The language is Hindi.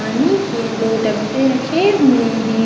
पानी के दो डब्बे रखे हुए है।